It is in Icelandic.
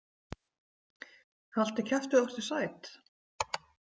Haltu kjafti og vertu sæt?